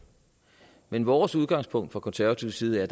men vores udgangspunkt fra konservativ side er